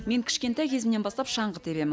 мен кішкентай кезімнен бастап шаңғы тебем